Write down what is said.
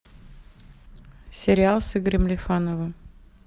сериал с игорем лифановым